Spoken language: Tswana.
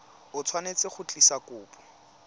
o tshwanetse go tlisa kopo